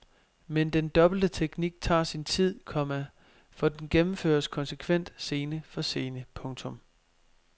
Men den dobbelte teknik tager sin tid, komma for den gennemføres konsekvent scene for scene. punktum